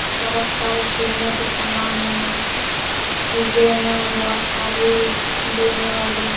बहुत सारे खेलने के सामान हैं चीजें हैं बहुत सारी लेने वाली--